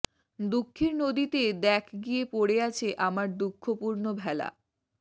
দুঃখের নদীতে দ্যাখ গিয়ে পড়ে আছে আমার দুঃখপূর্ণ ভেলা